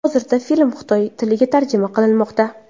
Hozirda film xitoy tiliga tarjima qilinmoqda.